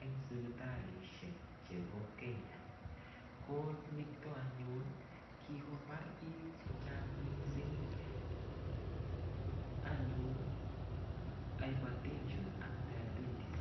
eng sipitalishek chebo Kenya ko nito anyun kikobar bik che chang mising anyun hypertension ak diabetes